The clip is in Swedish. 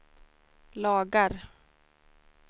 lagar